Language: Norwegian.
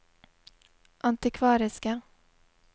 antikvariske